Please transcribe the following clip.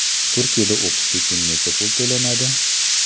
Turkiyada o‘qish uchun necha pul to‘lanadi?